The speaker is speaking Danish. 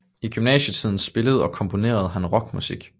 I gymnasietiden spillede og komponerede han rockmusik